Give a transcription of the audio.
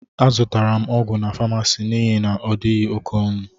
Azutara m ọgwụ n' pamasist n'ihi na odighi oké ọnụ.